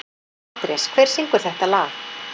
Andrés, hver syngur þetta lag?